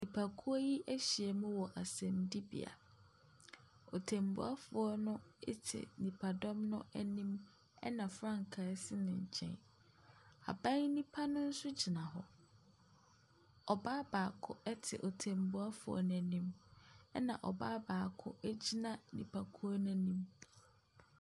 Nipakuo yi ahyia mu wɔ asɛmdibea. Ɔtenbuafoɔ no ɛte nipadɔm no anim ɛna frankaa esi ne nkyɛn. Aban nipa no nso gyina hɔ. Ɔbaa baako ɛte ɔtenbuafoɔ no anim ena ɔbaa baako egyina nipakuo no anim.